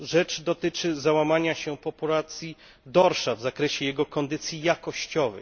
Rzecz dotyczy załamania się populacji dorsza w zakresie jego kondycji jakościowej.